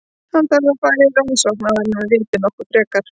Hann þarf að fara í rannsókn áður en við vitum nokkuð frekar.